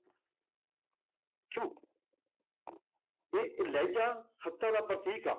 ਕਿਉਂ ਇਹ ਲਹਿਜ਼ਾ ਸੱਤਾ ਦਾ ਪ੍ਰਤੀਕ ਆ,